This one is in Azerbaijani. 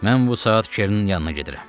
Mən bu saat Çernin yanına gedirəm.